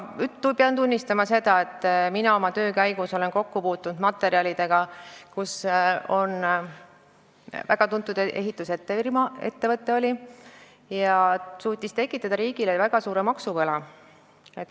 Pean tunnistama seda, et mina oma töö käigus olen kokku puutunud materjalidega selle kohta, et väga tuntud ehitusettevõte suutis tekitada riigile väga suure maksuvõla.